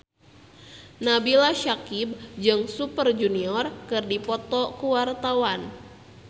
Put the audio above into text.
Nabila Syakieb jeung Super Junior keur dipoto ku wartawan